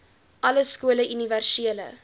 alle skole universele